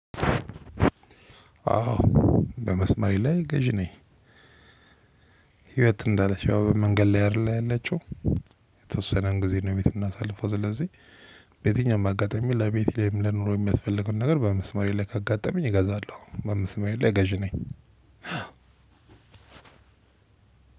አዎ በመስመር ላይ ገዢ ነኝ። ህይወት እንዳለች ያው መንገድ ላይ አይደል ያለችው። የተወሰነ ጊዜ ነው ቤት ምናሳልፈው። ስለዚህ በየትኛውም አጋጣሚ ለቤቴ ወይም ለኑሮ የሚያስፈልግን ነገር በመስመሬ ላይ ካጋጠመኝ እገዛለሁ። በመስመሬ ላይ ገዢ ነኝ።